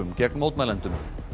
gegn mótmælendum